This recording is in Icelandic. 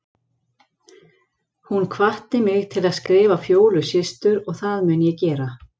Hún hvatti mig til að skrifa Fjólu systur og það mun ég gera.